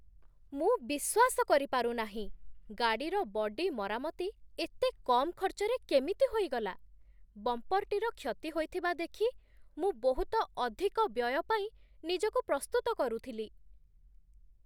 ମୁଁ ବିଶ୍ୱାସ କରିପାରୁ ନାହିଁ, ଗାଡ଼ିର ବଡି ମରାମତି ଏତେ କମ୍ ଖର୍ଚ୍ଚରେ କେମିତି ହୋଇଗଲା! ବମ୍ପରଟିର କ୍ଷତି ହୋଇଥିବା ଦେଖି ମୁଁ ବହୁତ ଅଧିକ ବ୍ୟୟ ପାଇଁ ନିଜକୁ ପ୍ରସ୍ତୁତ କରୁଥିଲି।